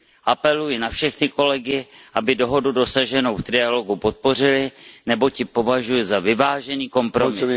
Apeluji na všechny kolegy, aby dohodu dosaženou v trialogu podpořili, neboť ji považuji za vyvážený kompromis.